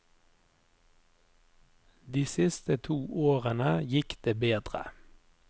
De siste to årene gikk det bedre.